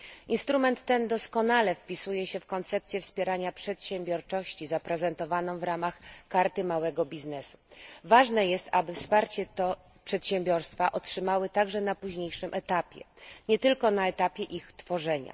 Instrument ten doskonale wpisuje się w koncepcję wspierania przedsiębiorczości zaprezentowaną w ramach Karty Małego Biznesu. Ważne jest, aby przedsiębiorstwa otrzymały to wsparcie także na późniejszym etapie, a nie tylko na etapie ich tworzenia.